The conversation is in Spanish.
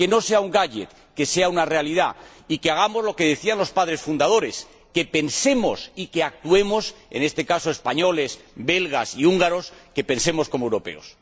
Que no sea un gadget, que sea una realidad y que hagamos lo que decían los padres fundadores que pensemos y que actuemos —en este caso españoles, belgas y húngaros— como europeos.